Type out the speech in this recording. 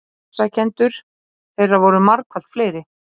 Ofsækjendur þeirra voru margfalt fleiri.